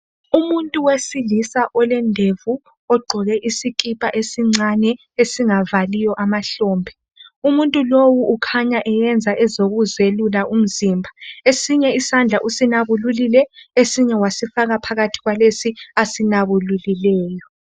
Umuntu wesilisa olendevu ogqoke isikhipha esincane esingavaliyo amahlombe umuntu lowu ukhanya esenza ezokuzelula umzimba esinye isandla usinabululile esinye wasifaka phakathi kwalesi asinabululileyo.